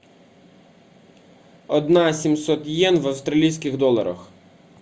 одна семьсот йен в австралийских долларах